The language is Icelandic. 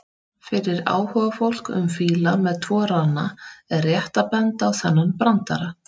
Fyrir áhugafólk um fíla með tvo rana er rétt að benda á þennan brandara: